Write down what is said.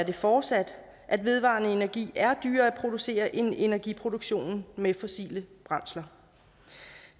er fortsat at vedvarende energi er dyrere at producere end energiproduktion med fossile brændsler